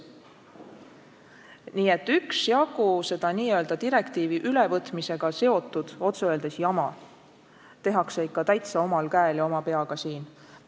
Nii et üksjagu seda n-ö direktiivide ülevõtmisega seotud otse öeldes jama tehakse ikka täitsa omal käel ja oma peaga siin Eestis.